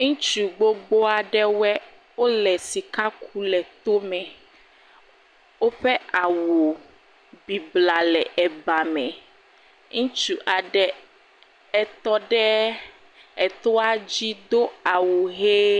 Ŋutsu gbogbo aɖewɔe, wole sika ku le tome. Woƒe awu bibla le ebame. Ŋutsu aɖe, etɔ ɖeee etoa dzi do awu ʋee.